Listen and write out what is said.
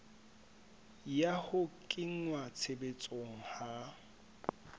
ya ho kenngwa tshebetsong ha